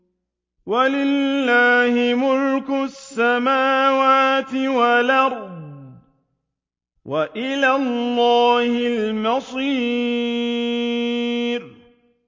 وَلِلَّهِ مُلْكُ السَّمَاوَاتِ وَالْأَرْضِ ۖ وَإِلَى اللَّهِ الْمَصِيرُ